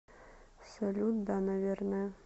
салют да наверное